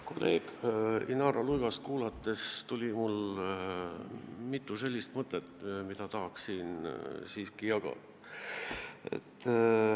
Kolleeg Inara Luigast kuulates tekkis mul mitu mõtet, mida tahaks siin jagada.